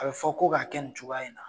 A be fɔ ko ka kɛ nin cogoya in na